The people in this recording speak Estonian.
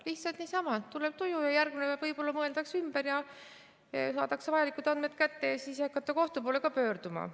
Lihtsalt niisama, tuleb tuju ja järgmine päev võib-olla mõeldakse ümber ja saadakse vajalikud andmed kätte ja siis ei hakata kohtu poole ka pöörduma.